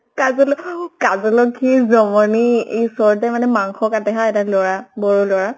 কাজলৰ অহ কাজলৰ কি জমনি ই ওচৰতে মানে মাংস কাটে হা এটা লʼৰা, বড়ো লʼৰা